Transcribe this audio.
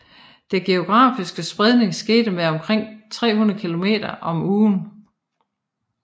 Den geografiske spredningen skete med omkring 300 kilometer om ugen